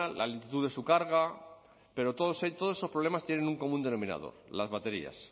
la lentitud de su carga pero todos esos problemas tienen un común denominador las baterías